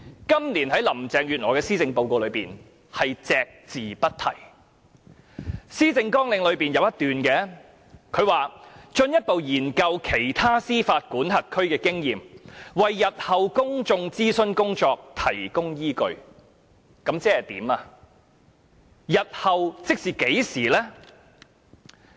今年在林鄭月娥的施政報告中，便是對此隻字不提，而在她的施政綱領中則有一段，就是："進一步研究其他司法管轄區推行反歧視措施的經驗，為日後的公眾諮詢工作提供依據"，這究竟是甚麼意思呢？